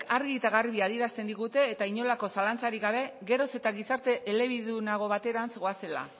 argi eta garbi adierazten digute eta inolako zalantzarik gabe geroz eta gizarte elebidunago baterantz goazela